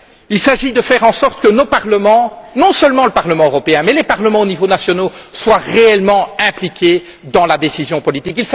Il s'agit de faire en sorte que nos parlements non seulement le Parlement européen mais les parlements aux niveaux nationaux soient réellement impliqués dans la décision politique.